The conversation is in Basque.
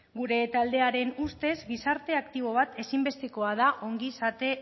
gure taldearen ustez gizarte aktibo bat ezinbestekoa da ongizate